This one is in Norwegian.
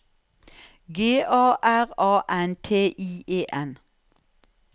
G A R A N T I E N